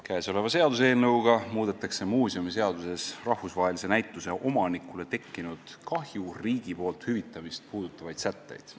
Käesoleva seaduseelnõuga muudetakse muuseumiseaduses rahvusvahelise näituse omanikule tekkinud kahju riigi poolt hüvitamist puudutavaid sätteid.